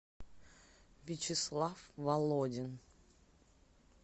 вячеслав володин